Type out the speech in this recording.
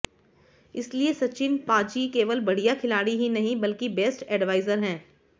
इसलिए सचिन पा जी केवल बढ़िया खिलाड़ी ही नहीं बल्कि बेस्ट एडवाइजर हैं